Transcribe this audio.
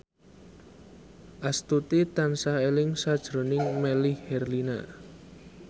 Astuti tansah eling sakjroning Melly Herlina